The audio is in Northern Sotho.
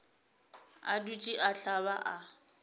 a dutše a hlaba a